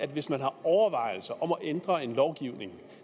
hvis man har overvejelser om at ændre en lovgivning